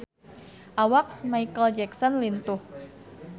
Awak Micheal Jackson lintuh